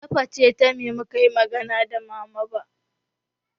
Ta facetime mukayi magana da mama ba